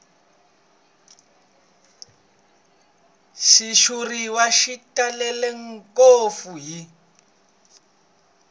xitshuriwa xi talele ngopfu hi